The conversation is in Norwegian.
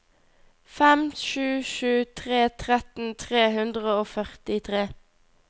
fem sju sju tre tretten tre hundre og førtitre